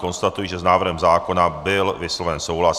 Konstatuji, že s návrhem zákona byl vysloven souhlas.